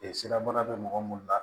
siraban bɛ mɔgɔ minnu la